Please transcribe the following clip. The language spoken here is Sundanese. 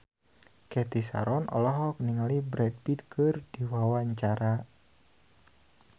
Cathy Sharon olohok ningali Brad Pitt keur diwawancara